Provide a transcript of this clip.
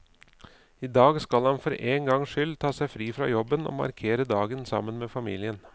I dag skal han for én gangs skyld ta seg fri fra jobben og markere dagen sammen med familien.